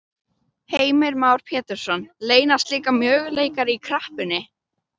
Heimir Már Pétursson: Leynast líka möguleikar í kreppunni?